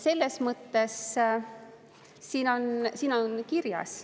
Selles mõttes siin on kirjas.